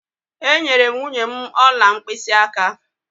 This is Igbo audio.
Enyere m nwunye m ọla mkpịsịaka.